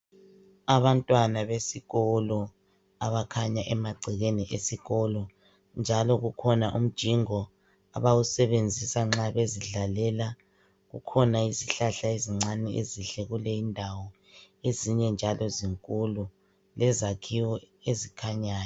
Abantwana besikolo abakhanya emagcekeni esikolo njalo kukhona umjingo abawusebenzisa nxa bezidlalela, kukhona izihlahla ezincane ezinhle kuleyi indawo ezinye njalo zinkulu lezakhiwo ezikhanyayo.